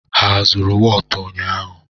Ha azụrụ wọọtụ ụnyaahụ?